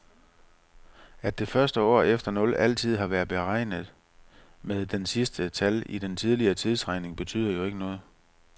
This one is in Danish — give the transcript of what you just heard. At det første år efter nul altid har været betegnet med det sidste tal i den tidligere tidsregning betyder jo ikke noget.